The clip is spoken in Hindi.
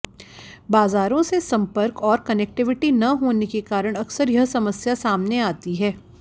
बाजारों से संपर्क और कनेक्टिविटी न होने के कारण अक्सर यह समस्या सामने आती है